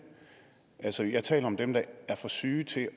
altså jeg taler om dem der er for syge til